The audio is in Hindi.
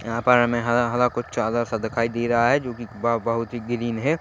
यहाँ पर हमे हरा हरा कुछ चादर सा दिखाई दे रहा है जो कि बहुत हि ग्रीन है।